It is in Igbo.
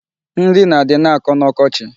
Nri nadị na-akọ n'ọkochi.